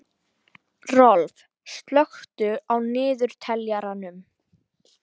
Rolf, slökktu á niðurteljaranum.